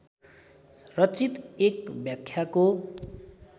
रचित एक व्याख्याको